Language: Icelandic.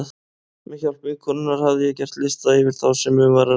Með hjálp vinkonunnar hafði ég gert lista yfir þá sem um var að ræða.